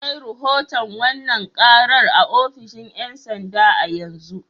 Ina kai rahoton wannan karar a ofishin 'yan sanda a yanzu.